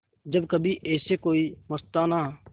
जब कभी ऐसे कोई मस्ताना